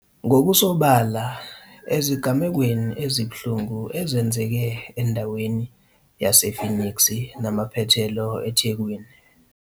.ngokusobala ezigamekweni ezibuhlungu ezenzeke endaweni yase-Phoenix namaphethelo eThekwini.